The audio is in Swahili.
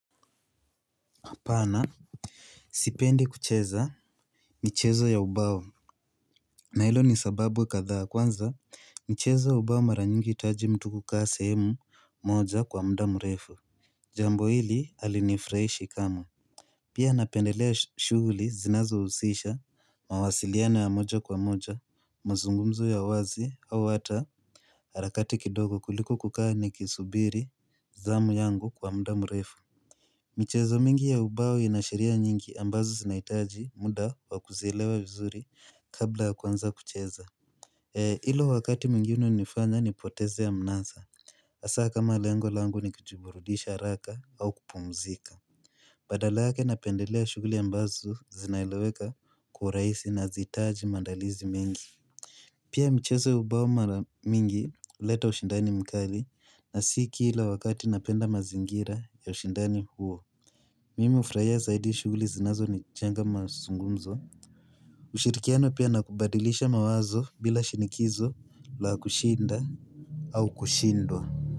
Pana Sipendi kucheza michezo ya ubao na ilo ni sababu kathaa kwanza michezo ya ubao maranyingi itaji mtu kukaa sehemu moja kwa mdamu refu Jambo hili halinifraishi kamwe Pia napendelea shuguli zinazo usisha mawasiliano ya moja kwa moja mazungumzo ya wazi au hata harakati kidogo kuliko kukaa ni kisubiri Zamu yangu kwa mdamu refu michezo mingi ya ubao inashiria nyingi ambazo sinaitaji muda wakuzilewa vizuri kabla kwanza kucheza. Ilo wakati mwingine nifanya ni poteze ya mnaza. Asa kama lengo langu ni kujuburudisha raka au kupumzika. Badalake na pendelea shuguli ambazu zinaileweka kwa raisi na zitaaji mandalizi mengi. Pia mcheze ubauma mingi leta ushindani mkali na siki ila wakati napenda mazingira ya ushindani huo. Mimi ufurahia zaidi shuguli zinazo ni janga masungumzo. Ushirikiano pia nakubadilisha mawazo bila shinikizo la kushinda au kushindwa.